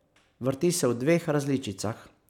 Vrti se v dveh različicah.